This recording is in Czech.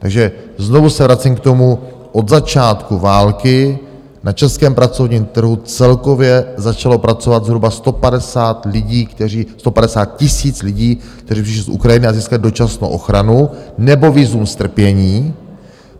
Takže znovu se vracím k tomu, od začátku války na českém pracovním trhu celkově začalo pracovat zhruba 150 000 lidí, kteří přišli z Ukrajiny a získali dočasnou ochranu nebo vízum strpění.